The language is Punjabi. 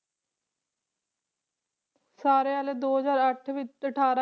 ਸਾਰੇ ਵਾਲੇ ਦੋ ਹਜ਼ਾਰ ਅੱਠ ਵਿੱਚ ਤੇ ਅਠਾਰਾਂ